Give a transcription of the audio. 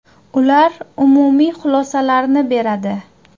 Ular umumiy xulosalarni beradi.